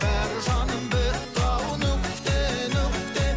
бәрі жаным бітті ау нүкте нүкте